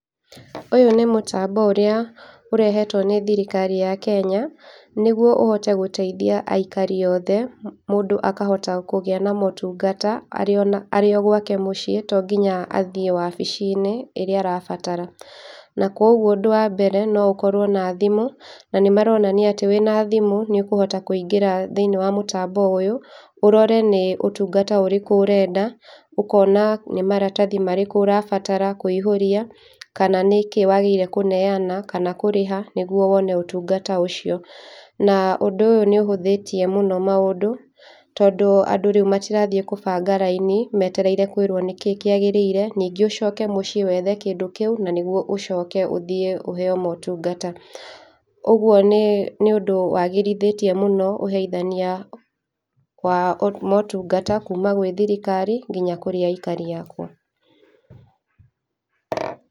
Ũyũ nĩ mũtambo ũrĩa ĩrehetwo nĩ thirikari ya Kenya, nĩgũo ũhote gũteithia aikari othe, mũndũ akahota kĩgia na maũtũngata arĩ ona arĩ gwake mũciĩ, tonginya athiĩ wabici-inĩ ĩrĩa arabatara. Na koguo ũndũ wa mbere, noũkorwo na thimũ, na mĩmaronania atĩ wĩna thimũ niũkũhota kũingĩra thĩiniĩ wa mũtambo ũyũ, ũrore nĩ ũtũngata ũrĩkũ ũrenda, ũkona nĩ maratathi marĩkũ ũrabatara kũihũria kana nĩkĩ wagĩrĩire kũneana kana kũrĩha nĩguo wone ũtungata ũcio. Na ũndũ ũyũ nĩũhũthĩtie mũno maũndũ, tondũ andũ rĩũ matirathiĩ kũbanga raini metereire kũĩrwo nĩkĩ kĩagĩrĩire, ningĩ ũcoke mũciĩ wethe kĩndũ kĩũ na nĩgũo ũcoke ũthiĩ ũheyo motũngata. Ũguo nĩ nĩũndũ wagithĩrĩtie mũno ũheithania wa o motũngata kũũma gwĩ thirikari nginya kũrĩ aikari akwa.